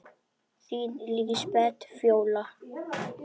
Þín Lísbet Fjóla.